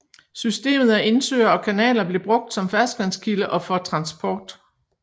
Systemet af indsøer og kanaler blev brugt som ferskvandskilde og for transport